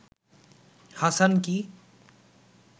Hasan কী